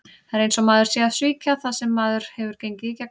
Það er eins og maður sé að svíkja það sem maður hefur gengið í gegnum.